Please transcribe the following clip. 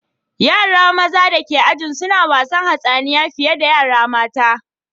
Yara mazan dake ajin sun wasan hatsaniya fiye da yara matan.